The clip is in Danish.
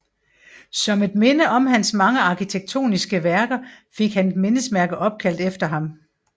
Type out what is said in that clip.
Som et minde over hans mange arkitektoniske værker fik han et mindesmærke opkaldt efter ham